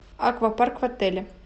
аквапарк в отеле